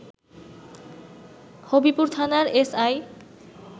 হবিপুর থানার এসআই